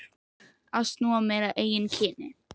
Að snúa mér að eigin kyni.